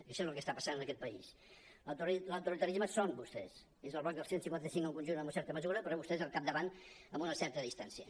això és el que està passant en aquest país l’autoritarisme són vostès és el bloc del cent i cinquanta cinc en conjunt en una certa mesura però vostès al capdavant amb una certa dis·tància